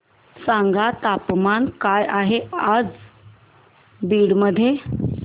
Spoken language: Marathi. सांगा तापमान काय आहे आज बीड मध्ये